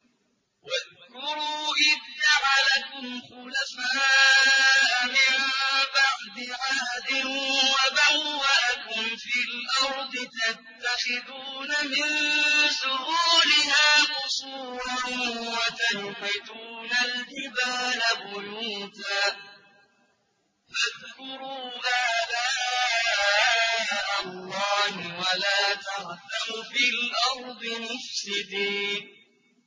وَاذْكُرُوا إِذْ جَعَلَكُمْ خُلَفَاءَ مِن بَعْدِ عَادٍ وَبَوَّأَكُمْ فِي الْأَرْضِ تَتَّخِذُونَ مِن سُهُولِهَا قُصُورًا وَتَنْحِتُونَ الْجِبَالَ بُيُوتًا ۖ فَاذْكُرُوا آلَاءَ اللَّهِ وَلَا تَعْثَوْا فِي الْأَرْضِ مُفْسِدِينَ